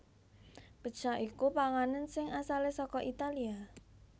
Pizza iku panganan sing asalé saka Italia